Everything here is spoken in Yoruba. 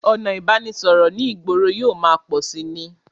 Ọ̀nà ìbánisọ̀rọ̀ ní ìgboro yóò máa pọ̀ síi ni